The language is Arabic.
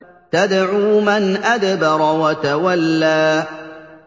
تَدْعُو مَنْ أَدْبَرَ وَتَوَلَّىٰ